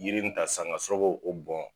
Yiri min ta sisan k'a sɔrɔ k'o bɔn.